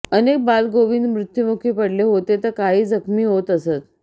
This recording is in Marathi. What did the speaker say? अनेक बालगोविंद मृत्यूमुखी पडले होते तर काही जखमी होत असत